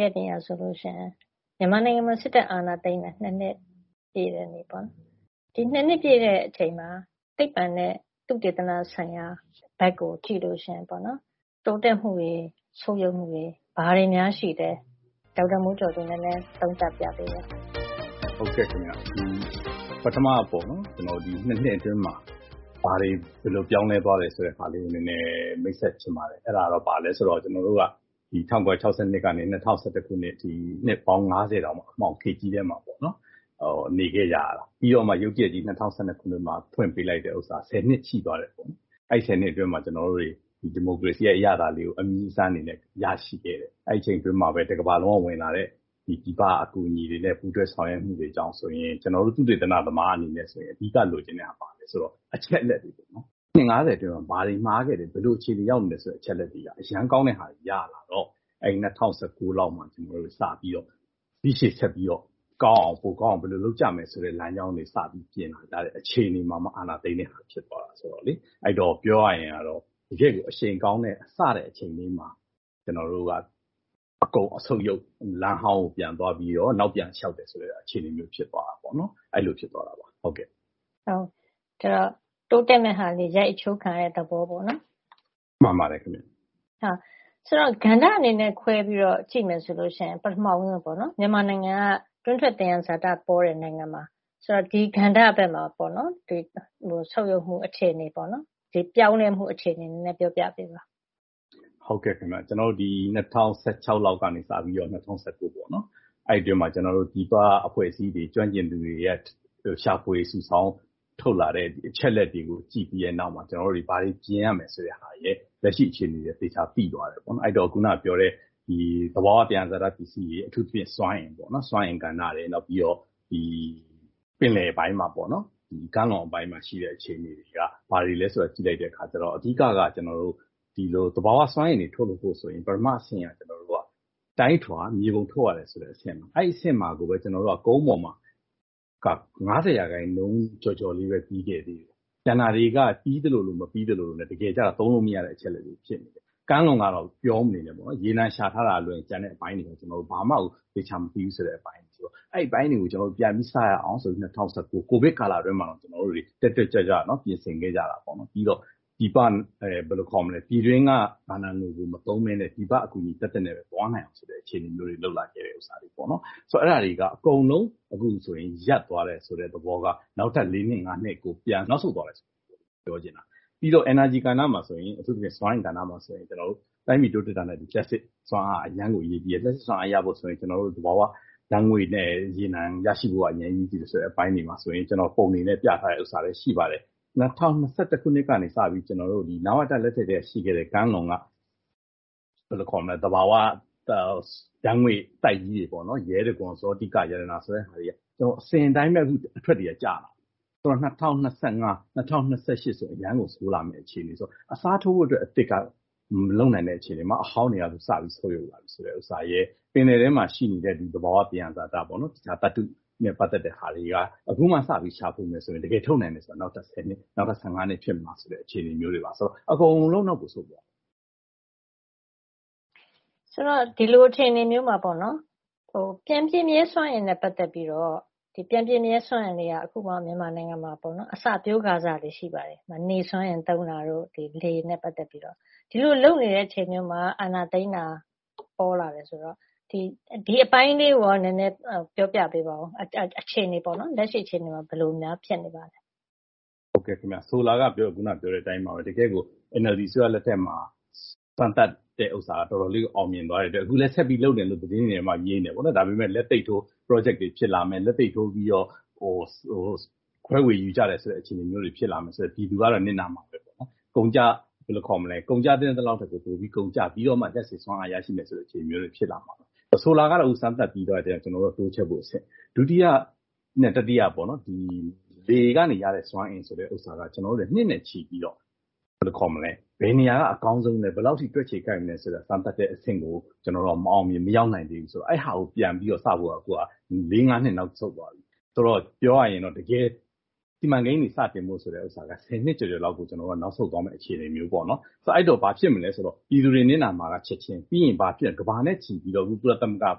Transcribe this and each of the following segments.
ရက်နေ့ကဆိုလို့ရှိရင် မြန်မာနိုင်ငံမှာ စစ်တပ်အာဏာသိမ်းတာ ၂ နှစ်ပြည့်တဲ့နေ့ပေါ့နော်။ ဒီ ၂ နှစ်ပြည့်တဲ့အချိန်မှာ သိပ္ပံနဲ့သုတေသနဆိုင်ရာဘက်ကိုကြည့်လို့ရှိရင်ပေါ့နော်- တိုးတက်မှုတွေ၊ ဆုတ်ယုတ်မှုတွေ ဘာတွေများရှိလဲ၊ ဒေါက်တာမျိုးကျော်သူ နည်းနည်း သုံးသပ်ပြပေးပါ။ ဟုတ်ကဲ့ခင်ဗျ။ ပထမပေါ့နော် - ဒီ ၂ နှစ်အတွင်းမှာ ဘာတွေ ဘယ်လို ပြောင်းလဲသွားတယ်ဆိုတဲ့ဟာကို နည်းနည်း မိတ်ဆက်ချင်ပါတယ်။ အဲဒါဘာလဲဆိုတော့ ၁၉၆၂ ကနေ ၂၀၁၁ ခုနှစ်အထိ နှစ်ပေါင်း ၅၀ တောင် အမှောင်ခေတ်ကြီးထဲမှာပေါ့နော်- နေခဲ့ကြရတာ။ ပြီးတော့မှ ရုတ်တရက်ကြီး ၂၀၁၂ ခုနှစ်မှာ ဖွင့်ပေးလိုက်တဲ့ဥစ္စာ ၁၀ နှစ်ရှိသွားတယ်။ အဲဒီ ၁၀ နှစ်အတွင်းမှာ ကျနော်တို့တွေ ဒီမိုကရေစီရဲ့အရသာလေးကို အမြည်းအစမ်းအနေနဲ့ရရှိခဲ့တယ်ပေါ့။ အဲဒီအချိန်အတွင်းမှာပဲ တကမ္ဘာလုံးကဝင်လာတဲ့ပြည်ပအကူအညီတွေနဲ့ ပူးတွဲဆောင်ရွက်မှုတွေကြောင့်ဆိုရင် ကျနော်တို့ သုတေသနသမားအနေနဲ့ဆိုရင် အဓိကလိုချင်တာ ဘာလဲဆိုတော့ အချက်အလက်တွေပေါ့နော်။ နှစ် ၅၀ ကျော် ဘာတွေမှားခဲ့တယ်၊ ဘယ်လိုအခြေအနေရောက်နေတယ်ဆိုတဲ့အချက်အလက်တွေက အရမ်းကောင်းတဲ့ဟာတွေ ရလာတော့ ၂၀၁၉ လောက်မှာစပြီးတော့ ဒီရှေ့ဆက်ပြီးတော့ပိုကောင်းအောင် ဘယ်လိုလုပ်ကြမယ်ဆိုတဲ့လမ်းကြောင်းတွေ စပြီးပြင်လာကြတဲ့အချိန်တွေမှာမှ အာဏာသိမ်းတဲ့ဟာဖြစ်သွားတာဆိုတော့ - ပြောရရင်တော့ တကယ့်ကို အရှိန်ကောင်းတဲ့၊ စတဲ့အချိန်လေးမှာ ကျနော်တို့က အကုန်ဆုတ်ယုတ် လမ်းဟောင်းကိုပြန်သွားပြီးတော့ နောက်ပြန်လျှောက်တယ်ဆိုတဲ့အခြေအနေမျိုး ဖြစ်သွားတာပေါ့နော်။ အဲဒီလို ဖြစ်သွားတာပေါ့။ တိုးတက်မဲ့ဟာတွေ ရိုက်အချိုးခံရတဲ့သဘောပေါ့နော်။ မှန်ပါတယ်ခင်ဗျ။ ဆိုတော့...ကဏ္ဍအနေနဲ့ခွဲပြီးတော့ ကြည့်မယ်ဆိုရင် ပထမဦးဆုံးပေါ့နော်- မြန်မာနိုင်ငံက တွင်းထွက်သယံဇာတပေါတဲ့နိုင်ငံပါ။...ဆိုတော့ ဒီကဏ္ဍဘက်မှာ ဆုတ်ယုတ်မှုအခြေအနေ၊ ပြောင်းလဲမှုအခြေအနေကို ပြောပြပေးပါ။ ဟုတ်ကဲ့ခင်ဗျ။ ဒီ ၂၀၁၆ လောက်ကစပြီးတော့ ၂၀၁၉ ပေါ့နော်၊ အဲဒီအတွင်းမှာ ပြည်ပအဖွဲ့အစည်းတွေ၊ ကျွမ်းကျင်သူတွေက ရှာဖွေစုဆောင်းထုတ်လာတဲ့အချက်အလက်တွေကိုကြည့်ပြီးတဲ့နောက်မှာ ကျနော်တို့တွေ ဘာတွေပြင်ရမယ်ဆိုတဲ့ဟာရယ်၊ လက်ရှိအခြေအနေရယ် သေချာသိသွားတယ်ပေါ့။ အဲဒီတော့ အခုနကပြောတဲ့ သဘာဝသယံဇာတပစ္စည်းတွေ- အထူးသဖြင့် စွမ်းအင်ကဏ္ဍ၊ နောက်ပြီးတော့ ပင်လယ်ပိုင်းမှာ ကမ်းလွန်ပိုင်းမှာရှိတဲ့အခြေအနေတွေက ဘာတွေလဲဆိုတာ ကြည့်လိုက်တဲ့အခါ အဓိက-ကတော့ သဘာဝစွမ်းအင်တွေ ထုတ်ဖို့ဆိုရင် ပထမအဆင့်က တိုင်းထွာ၊ မြေပုံထုတ်ရတယ်ဆိုတဲ့အဆင့်၊ အဲဒီအဆင့်မှာကိုပဲ ကျနော်တို့က ကုန်းပေါ်မှာက ၅၀ % ကျော်ကျော်လေးပဲ ပြီးခဲ့တယ်။ ကျန်တာတွေက ပြီးသလိုလို မပြီးသလိုလိုနဲ့ တကယ်ကျ သုံးလို့မရတဲ့အချက်အလက်တွေဖြစ်နေတယ်။ ကမ်းလွန်ကတော့ ပြောမနေနဲ့တော့။ ရေနံရှာထားတာကလွဲရင် ကျန်တဲ့အပိုင်းတွေကို ကျနော်တို့ ဘာမှကို သေချာမသိဘူးဆိုတဲ့အပိုင်းဆိုတော့- အဲဒီအပိုင်းတွေကို ပြန်ပြီးစရအောင်ဆိုပြီး ၂၀၁၉ ကိုဗစ်ကာလအတွင်းမှာတောင် တက်တက်ကြွကြွ ပြင်ဆင်ခဲ့ကြတာ။ ပြည်တွင်းကဘဏ္ဍာငွေတွေမသုံးဘဲ ပြည်ပအကူအညီသက်သက်နဲ့ပဲသွားမယ်ဆိုပြီးတော့ လုပ်လာခဲ့ကြတာ။ အဲဒါတွေက အခုဆို အကုန်လုံးရပ်သွားတယ်ဆိုတဲ့သဘောက နောက်ထပ် လေးနှစ်၊ ငါးနှစ်ကို ပြန်နောက်ဆုတ်သွားတယ်ဆိုတဲ့သဘော ပြောချင်တာ။ ပြီးတော့ energy ကဏ္ဍမှာဆိုရင် အထူးသဖြင့် စွမ်းအင်ကဏ္ဍမှာဆိုရင် ကျနော်တို့ တိုင်းပြည်တိုးတက်တာနဲ့အတူ လျှပ်စစ်စွမ်းအားက အရမ်းကိုအရေးကြီးတယ်။ လျှပ်စစ်စွမ်းအားရဖို့ဆိုရင် သဘာဝဓာတ်ငွေ့နဲ့ ရေနံရရှိဖို့က အရမ်းကိုအရေးကြီးတယ်ဆိုတဲ့အပိုင်းတွေမှာဆိုရင် ကျနော်တို့ပုံတွေနဲ့ပြထားတဲ့ဥစ္စာလည်း ရှိပါတယ်။ ၂၀၂၁ ခုနှစ်ကနေစပြီး နဝတ လက်ထက်ကတည်းကရှိခဲ့တဲ့ ကမ်းလွန်က သဘာဝဓာတ်ငွေ့ပိုက်ကြီးတွေပေါ့နော်- ရဲတံခွန်၊ ဇောတိက၊ ရတနာ ဆိုတဲ့..အစဉ်အတိုင်းပဲ အခု အထွက်တွေက ကျလာတာ။ ၂၀၂၅၊ ၂၀၂၈ ဆိုရင် အရမ်းကို ဆိုးလာမယ့်အခြေအနေဆိုတော့- အစားထိုးဖို့အတွက်အသစ်က မလုပ်နိုင်တဲ့အခြေအနေမှာ အဟောင်းတွေက စပြီး ဆုတ်ယုတ်လာပြီဆိုတဲ့ဥစ္စာရယ်၊ ပင်လယ်ထဲမှာရှိနေတဲ့ သဘာဝသယံဇာတပေါ့နော်-သတ္တုနဲ့ ပတ်သက်တဲ့ဟာလေးတွေက အခုမှစပြီးရှာဖွေမယ်ဆိုရင် တကယ်ထုတ်နိုင်တာက နောက်ထပ် ဆယ်နှစ်၊ နောက်ထပ် ၁၅ နှစ်ဖြစ်မလားဆိုတဲ့အခြေအနေမျိုးတွေမှာ - ဆိုတော့ အကုန်လုံးတော့ မဆိုလိုပါဘူး။...ဆိုတော့ ဒီလိုအခြေအနေမျိုးမှာ ပြန်ပြည့်မြဲစွမ်းအင်နဲ့ပတ်သက်ပြီးတော့ - ပြန်ပြည့်မြဲစွမ်းအင်တွေက အခုမှ မြန်မာနိုင်ငံမှာ အစပျိုးကာစပဲ ရှိပါတယ်။ နေစွမ်းအင်သုံးတာတို့၊ လေနဲ့ပတ်သက်ပြီးတော့။ ဒီလိုလုပ်နေတဲ့အချိန်မှာ အာဏာသိမ်းတာပေါ်လာတယ်ဆိုတော့ ဒီအပိုင်းလေးကိုရော ပြောပြပေးပါအုံး။ လက်ရှိအခြေအနေမှာ ဘယ်လိုများ ဖြစ်နေပါသလဲ။ ဟုတ်ကဲ့ခင်ဗျ။ ဆိုလိုတာက ခုနကပြောတဲ့အတိုင်းပါပဲ။ တကယ့်ကို NLD အစိုးရလက်ထက်မှာ စမ်းသပ်တာက တော်တော်လေးကို အောင်မြင်သွားတဲ့အတွက် အခုလည်း ဆက်ပြီး လုပ်နေတယ်လို့ သတင်းတွေထဲမှာ မြင်နေတယ်။ ဒါပေမဲ့ လက်သိပ်ထိုး ပရောဂျက်တွေဖြစ်လာမယ်၊ လက်သိပ်ထိုးပြီးတော့ ခွဲဝေယူကြတယ်ဆိုတဲ့အခြေအနေမျိုးတွေဖြစ်လာမယ်ဆိုတော့ ပြည်သူကတော့ နစ်နာမှာပဲပေါ့နော်။ ကုန်ကျသင့်သလောက်ထက် ပိုကုန်ကျပြီးတော့မှ လျှပ်စစ်စွမ်းအားရရှိမယ်ဆိုတဲ့အခြေအနေမျိုးတွေဖြစ်လာမှာပေါ့။ ဆိုလာကတော့ စမ်းသပ်ပြီးသွားလို့ တိုးချဲ့ဖို့အဆင့်။ ဒုတိယနဲ့တတိယပေါ့နော်- ဒီ လေကနေရတဲ့စွမ်းအင်ဆိုတာက ကျနော်တို့လည်း နှစ်နဲ့ချီပြီးတော့ ဘယ်နေရာကအကောင်းဆုံးလဲ၊ ဘယ်လောက်အထိ တွက်ခြေကိုက်မလဲဆိုတဲ့ စမ်းသပ်တဲ့အဆင့်ကို ကျနော်တို့က မအောင်မြင်၊ မရောက်နိုင်သေးဘူး။ အဲဒီဟာကို ပြန်ပြီးတော့စဖို့က လေးငါးနှစ် နောက်ဆုတ်သွားတယ်။ ဆိုတော့... ပြောရရင်တော့ တကယ် စီမံကိန်းတွေစတင်ဖို့ဆိုတဲ့ဥစ္စာက ဆယ်နှစ်ကျော်ကျော်လောက်ကို ကျနော်တို့က နောက်ဆုတ်သွားမယ့်အခြေအနေမျိုးပေါ့နော်။ အဲဒီတော့ ဘာဖြစ်မလဲဆိုတော့ ပြည်သူတွေနစ်နာမှာက ချက်ခြင်း၊ ပြီးရင်ဘာဖြစ်...ကမ္ဘာနဲ့ချီပြီး ကုလသမဂ္ဂက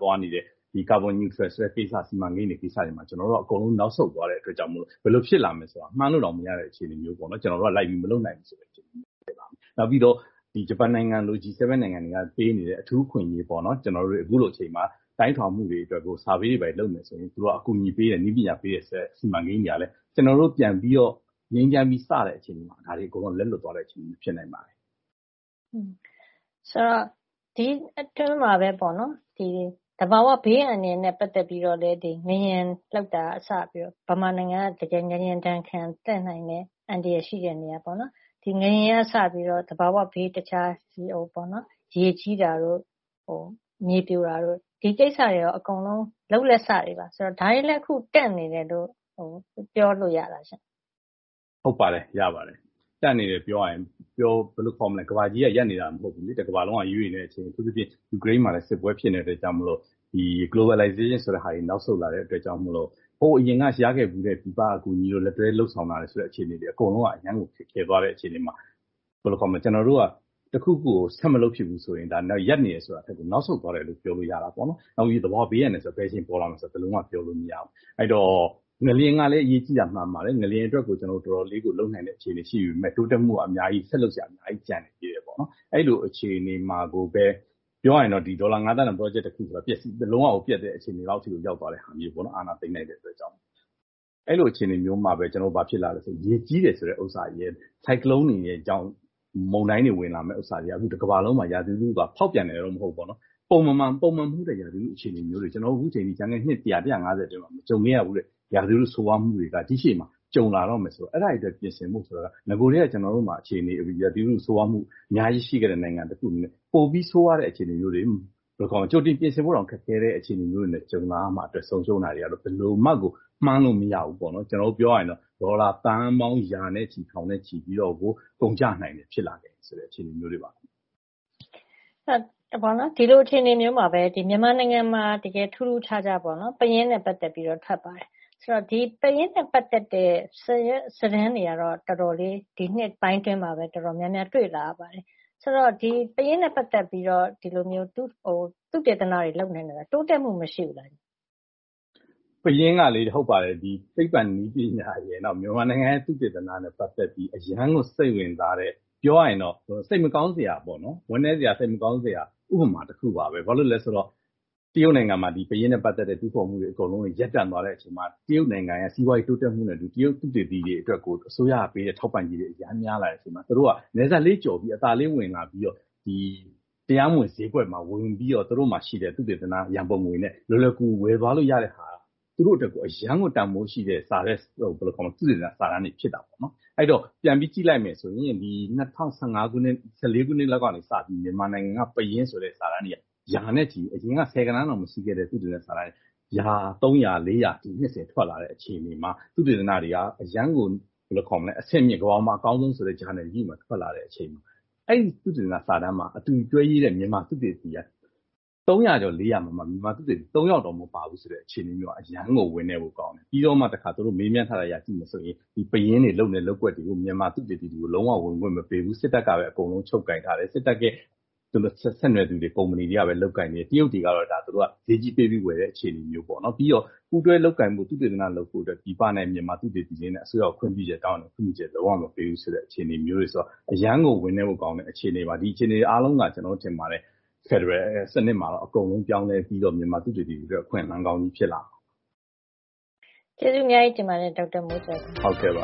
သွားနေတဲ့ ကာဗွန်....စီမံကိန်းတွေမှာ ကျနော်တို့က အကုန်လုံး နောက်ဆုတ်သွားတဲ့အတွက်ကြောင့်မို့လို့ ဘယ်လိုဖြစ်လာမလဲဆိုတာ မှန်းလို့တောင်မရတဲ့အခြေအနေမျိုးပေါ့နော်- ကျနော်တို့က လိုက်ပြီးမလုပ်နိုင်ဘူးဆိုတဲ့အခြေအနေမျိုးဖြစ်လာတယ်။ နောက်ပြီးတော့ ဂျပန်နိုင်ငံလို - G7 နိုင်ငံတွေက ပေးနေတဲ့ အထူးအခွင့်အရေးတွေပေါ့နော်၊ အခုလိုအချိန်မှာ တိုင်းထွာမှုတွေအတွက်ကို Survey တွေဘာတွေ လုပ်မယ်ဆိုရင် အကူအညီတွေပေးတယ်၊ နည်းပညာတွေပေးတယ်ဆိုတဲ့စီမံကိန်းတွေကလည်း ကျနော်တို့ပြန်ပြီးတော့ ငြိမ်းချမ်းပြီး စတဲ့အချိန်မှာ ဒါတွေအကုန်လုံးက လက်လွတ်သွားတဲ့အခြေအနေမျိုးဖြစ်နိုင်တယ်။...ဆိုတော့ ဒီအတွင်းမှာ သဘာဝဘေးအန္တရာယ်နဲ့ပတ်သက်ပြီးတော့လည်း ငလျင်လှုပ်တာကစပြီးတော့ မြန်မာနိုင်ငံက တကယ်ငလျင်ဒဏ်ခံ-သင့်နိုင်တဲ့အန္တရာယ်ရှိတဲ့နေရာပေါ့နော်- ဒီ ငလျင်ကစပြီးတော့ တခြား သဘာဝဘေး ရေကြီးတာတို့၊ မြေပြိုတာတို့- ဒီကိစ္စတွေရော အကုန်လုံး လုပ်လက်စတွေပါ။ ဒါတွေလည်း အခု တန့်နေတယ်လို့ ပြောလို့ရလားရှင့်။ ဟုတ်ပါတယ်၊ ရပါတယ်။ တန့်နေတယ်ပြောရရင် ဘယ်လိုပြောမလဲ၊ ကမ္ဘာကြီးကရပ်နေတာမဟုတ်ဘူးလေ။ တကမ္ဘာလုံးက ရွေ့နေတဲ့အချိန်။ အထူးသဖြင့် ယူကရိန်းမှာလည်း စစ်ပွဲဖြစ်နေတဲ့အတွက်ကြောင့်မို့လို့ Globalization ဆိုတဲ့ဟာတွေ နောက်ဆုတ်လာတဲ့အတွက်ကြောင့်မို့လို့ ဟိုအရင်ကရခဲ့ဖူးတဲ့ ပြည်ပကအကူအညီတို့၊ လက်တွဲလုပ်ဆောင်လာတဲ့အခြေအနေတွေက အကုန်လုံးက အရမ်းကို ခက်ခဲသွားတဲ့အခြေအနေမှာ ကျနော်တို့က တခုခုကို ဆက်မလုပ်ဖြစ်တော့ဘူးဆိုရင် ရပ်နေတယ်ဆိုတာထက်ကို နောက်ဆုတ်သွားတယ်လို့ ပြောလို့ရတာပေါ့နော်။ အထူးသဖြင့် သဘာဝဘေးအန္တရာယ်ဆိုတာက ဘယ်အချိန်ပေါ်လာမလဲဆိုတာကို ဘယ်လိုမှ ပြောလို့မရပါဘူး။ အဲဒီတော့ ငလျင်ကလည်း အရေးကြီးတာ မှန်ပါတယ်။ ငလျင်အတွကို တော်တော်လေးကို လုပ်နိုင်တဲ့အခြေအနေရှိပေမဲ့ တိုးတက်ဖို့က ဆက်လုပ်စရာ အများကြီးကျန်သေးတယ်ပေါ့။ အဲဒီလိုအခြေအနေမှာကိုပဲ ပြောရမယ်ဆိုရင် ဒေါ်လာ ငါးသန်းတန် ပရောဂျက်တခုက လုံးဝကို ပျက်တဲ့အခြေအနေလောက်ကို ရောက်သွားတဲ့ဟာမျိုးပေါ့နော်-အာဏာသိမ်းလိုက်တဲ့အတွက်။ အဲလိုအခြေအနေမျိုးမှာ ဘာဖြစ်လာသလဲဆိုတော့ ရေကြီးတယ်ဆိုတဲ့ဥစ္စာရယ်၊ ဆိုင်ကလုံးတွေရယ်ကြောင့် မုန်တိုင်းတွေဝင်လာမယ့်ဥစ္စာတွေက အခု တကမ္ဘာလုံးမှာ ရာသီဥတုက ဖောက်ပြန်တယ်ရယ်လို့တော့ မဟုတ်ဘူးပေါ့နော်- ပုံမှန်မဟုတ်တဲ့ရာသီဥတုအခြေအနေမျိုးတွေက အခု ကျနော်တို့ ကျန်ခဲ့တဲ့ နှစ် ၁၀၀ - ၁၅၀ အတွင်းမှာ မကြုံခဲ့ရဘူးတဲ့ ရာသီဥတုဆိုးရွားမှုတွေက ဒီ့ရှေ့မှာ ကြုံလာတော့မယ်ဆိုတော့- အဲဒါတွေအတွက် ပြင်ဆင်ဖို့ နဂိုထဲက ကျနော်တို့မှာ ဒီ ရာသီဥတုဆိုးဝါးမှု အများကြီးရှိခဲ့တဲ့နိုင်ငံတခုအနေနဲ့ ပိုပြီးဆိုးဝါးတဲ့အခြေအနေမျိုးတွေ - ဘယ်လိုခေါ်မလဲ၊ ကြိုတင်ပြင်ဆင်ဖို့တောင် ခက်ခဲတဲ့အခြေအနေမျိုးတွေနဲ့ကြုံလာရမှာအတွက် ဆုံးရှုံးတာတွေက ဘယ်လိုမှကို မှန်းလို့မရဘူးပေါ့နော်။ ပြောရရင်တော့ ဒေါ်လာသန်းပေါင်း ရာနဲ့ချီ၊ ထောင်နဲ့ချီပြီးတော့ကို ကုန်ကျလာနိုင်တာမျိုးတွေ ဖြစ်လာနိုင်တယ်ဆိုတဲ့ အခြေအနေမျိုးတွေပါ။ ဒီလိုအခြေအနေမျိုးမှာပဲ မြန်မာနိုင်ငံမှာ တကယ်ထူးထူးခြားခြားပေါ့နော်- ပယင်းနဲ့ပတ်သက်ပြီးတော့ ထွက်ပါတယ်။ ပယင်းနဲ့ပတ်သက်တဲ့စာရွက်စာတမ်းတွေကတော့ ဒီနှစ်ပိုင်းတွေအတွင်း တော်တော်များများ တွေ့လာရပါတယ်။...ဆိုတော့ ပယင်းနဲ့ပတ်သက်ပြီးတော့ ဒီလိုမျိုး သုတေသနတွေလုပ်နေတာ တိုးတက်မှုမရှိဘူးလား။ ဟုတ်ပါတယ်။ ပယင်းကလေ- သိပ္ပံနည်းပညာရယ်၊ နောက် မြန်မာနိုင်ငံရဲ့သုတေသနနဲ့ပတ်သက်ပြီး အရမ်းကိုစိတ်ဝင်စားတဲ့၊ ပြောရရင်တော့ စိတ်မကောင်းစရာပေါ့နော်- ဝမ်းနည်းစရာ၊ စိတ်မကောင်းစရာ ဥပမာတခုပါပဲ။ ဘာလို့လဲဆိုတော့ တရုတ်နိုင်ငံမှာ ပယင်းနဲ့ပတ်သက်တဲ့ တူးဖော်မှုတွေအကုန်လုံး ရပ်တန့်သွားတဲ့အချိန်မှာ တရုတ်နိုင်ငံမှာ စီးပွါးရေးတိုးတက်မှုနဲ့အတူ တရုတ်သုတေသီတွေအတွက်ကို အစိုးရကပေးတဲ့ထောက်ပံ့ကြေးတွေ အရမ်းများလာတဲ့အချိန်မှာ သူတို့က နယ်စပ်လေးကျော်ပြီး အသာလေးဝင်လာပြီးတော့ တရားမဝင်ဈေးကွက်မှာဝယ်ယူပြီးတော့ သူတို့မှာရှိတဲ့ သုတေသန ရံပုံငွေနဲ့လွယ်လွယ်ကူကူ ဝယ်သွားလို့ရတဲ့ဟာက သူတို့အတွက်ကို အရမ်းကိုတန်ဖိုးရှိတဲ့ သုတေသနစာတမ်းတွေဖြစ်လာတယ်။ အဲဒီတော့ ပြန်ပြီးကြည့်လိုက်မယ်ဆိုရင် ၂၀၁၄ ခုနှစ်လောက်ကစပြီး မြန်မာနိုင်ငံပယင်းဆိုတဲ့ စာတမ်းတွေက အရင်က ဆယ်ဂဏန်းတောင်မရှိခဲ့တဲ့ သုတေသနစာတမ်းတွေက ရာနဲ့ချီပြီး ၃၀၀- ၄၀၀ စာတမ်းတွေ နှစ်စဉ်ထွက်လာတဲ့အခြေအနေမှာ သုတေသနတွေက အရမ်းကို အဆင့်မြင့်တဲ့၊ ကမ္ဘာပေါ်မှာအကောင်းဆုံးဆိုတဲ့ ဂျာနယ်ကြီးတွေမှာ ထွက်လာတဲ့အချိန်။ အဲဒီသုတေသနစာတမ်းမှာ အတူတွဲရေးတဲ့ မြန်မာသုတေသီတွေက ၃၀၀ ကျော် ၄၀၀ ထဲမှာ မြန်မာသုတေသီက ၃ ယောက်တောင်မပါဘူးဆိုတဲ့အခြေအနေမျိုးက အရမ်းကို ဝမ်းနည်းဖို့ကောင်းတယ်။ ပြီးတော့မှ သူတို့က မေးမြန်းထားတဲ့အရ ကြည့်မယ်ဆိုရင် ပယင်းတွေလုပ်နေတဲ့လုပ်ကွက်တွေကို မြန်မာသုတေသီတွေကို လုံးဝ ဝင်ခွင့်မပေးဘူး။ စစ်တပ်ကပဲအကုန်လုံး ချုပ်ကိုင်ထားတယ်။ စစ်တပ်နဲ့ဆက်နွယ်သူတွေ၊ ကုမ္ပဏီတွေကပဲ လုပ်ကိုင်တယ်။ တရုတ်တွေကတော့ သူတို့က ဈေးကြီးပေးပြီးဝယ်တဲ့အခြေအနေမျိုး။ ပြီးတော့ ပူးတွဲလုပ်ကိုင်ဖို့၊ သုတေသနလုပ်ဖို့ ပြည်ပသုတေသီတွေနဲ့ အစိုးရခွင့်ပြုချက်တောင်းပေမဲ့ ခွင့်ပြုချက်လုံးဝ မပေးဘူးဆိုတဲ့အခြေအနေမျိုးတွေဆိုတော့ အရမ်းကို ဝမ်းနည်းဖို့ကောင်းတဲ့အခြေအနေပါ။ ဒီအခြေအနေတွေအားလုံးက ကျနော်ထင်တယ်၊ ဖက်ဒရယ်စနစ်မှာတော့ အကုန်လုံးပြောင်းလဲပြီးတော့ မြန်မာသုတေသီတွေအတွက် အခွင့်အလမ်းကောင်းတွေဖြစ်လာမယ်။ ကျေးဇူးအများကြီးတင်ပါတယ်။ ဒေါက်တာမျိုးကျော်သူ။ ဟုတ်ကဲ့။